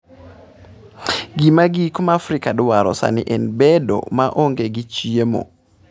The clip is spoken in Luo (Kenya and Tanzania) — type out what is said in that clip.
Gima giko ma Afrika dwaro sani en bedo maonge gi chiemo.